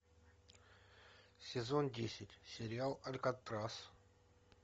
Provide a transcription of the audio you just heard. сезон десять сериал алькатрас